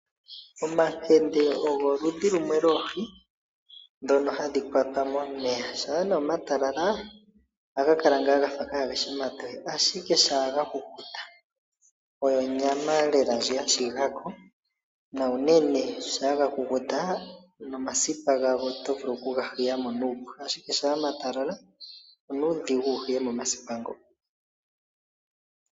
Omakende ogo oludhi lumwe lwoohi ndhono hadhi kwatwa momeya. Shaa nee omatalala ohaga kala kaageshi omatoye, ashike shaa ga kukuta oyo onyama lela ndji ya shiga ko na uunene shampa ga kukuta nomasipa gago oto vulu okuga hiya mo nuupu, ashike shampa omatalala onuudhigu wuhiye mo omasipa ngo.